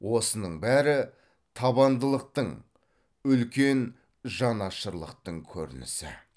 осының бәрі табандылықтың үлкен жанашырлықтың көрінісі